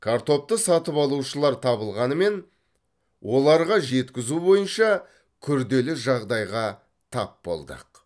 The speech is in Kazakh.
картопты сатып алушылар табылғанымен оларға жеткізу бойынша күрделі жағдайға тап болдық